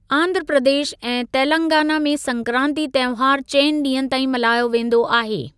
आंध्र प्रदेश ऐं तेलंगाना में संक्रांति तंहिवार चइनि ॾींहनि ताईं मल्हायो वेंदो आहे।